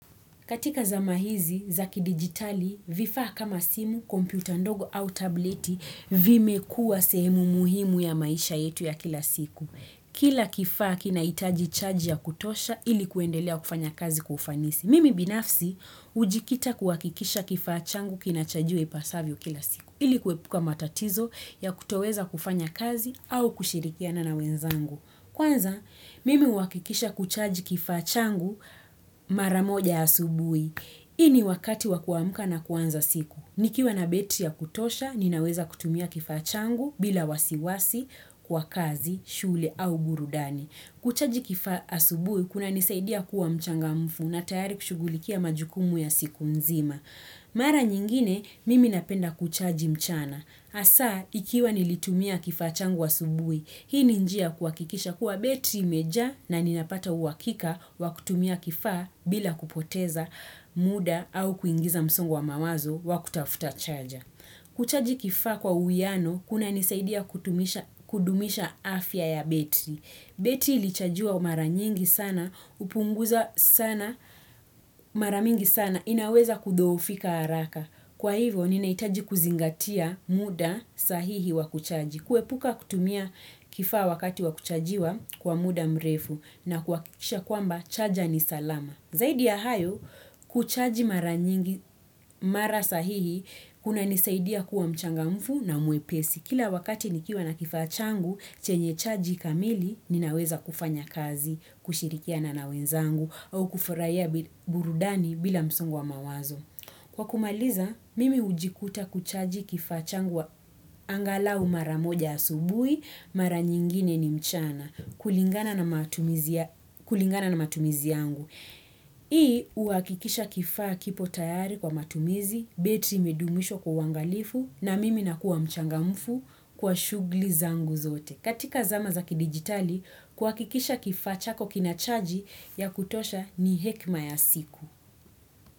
Katika zama hizi za kidigitali, vifaa kama simu, kompyuta ndogo au tableti vimekuwa sehemu muhimu ya maisha yetu ya kila siku. Kila kifaa kinahitaji chaji ya kutosha ili kuendelea kufanya kazi kufanisi. Mimi binafsi, hujikita kuwakikisha kifaa changu kinachajiwa ipasavyo kila siku. Ili kuepuka matatizo ya kutoweza kufanya kazi au kushirikiana na wenzangu. Kwanza, mimi huhakikisha kuchaji kifaa changu mara moja asubuhi. Hii ni wakati wa kuamka na kwanza siku. Nikiwa na betri ya kutosha, ninaweza kutumia kifaa changu bila wasiwasi kwa kazi, shule au gurudani. Kuchaji kifaa asubuhi, kunanisaidia kuwa mchangamfu na tayari kushughulikia majukumu ya siku mzima. Mara nyingine, mimi napenda kuchaji mchana. Hasa, ikiwa nilitumia kifaa changu asubuhi, hii ni njia ya kuhakikisha kuwa betri imejaa na ninapata uwakika wa kutumia kifaa bila kupoteza muda au kuingiza msongo wa mawazo wa kutafuta chaja. Kuchaji kifaa kwa uwiano, kunanisaidia kudumisha afya ya betri. Betri iliyochajiwa mara nyingi sana, hupunguza sana mara mingi sana, inaweza kudhoofika haraka. Kwa hivyo, ninahitaji kuzingatia muda sahihi wa kuchaji. Kuepuka kutumia kifaa wakati wa kuchajiwa kwa muda mrefu na kuhakikisha kwamba chaja ni salama. Zaidi ya hayo, kuchaji mara sahihi kunanisaidia kuwa mchangamfu na mwepesi. Kila wakati nikiwa na kifaa changu, chenye chaji kamili, ninaweza kufanya kazi, kushirikia na wenzangu, au kufurahia burudani bila msongo wa mawazo. Kwa kumaliza, mimi hujikuta kuchaji kifaa changu angalau mara moja asubuhi, mara nyingine ni mchana, kulingana na matumizi yangu. Hii, huhakikisha kifaa kipo tayari kwa matumizi, betri imedumishwa kwa uangalifu, na mimi nakuwa mchangamfu kwa shughuli zangu zote. Katika zama za kidigitali, kuhakikisha kifaa chako kina chaji ya kutosha ni hekima ya siku.